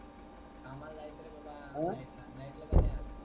कामाला जायच रे बाबा night ला. night जान आहे आज.